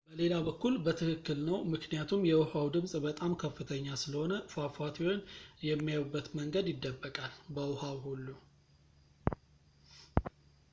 በሌላ በኩል በትክክል ነው ምክኒያቱም የውሃው ድምፅ በጣም ከፍተኛ ስለሆነ ፏፏቴውን የሚያዩበት መንገድ ይደበቃል በውሃው ሁሉ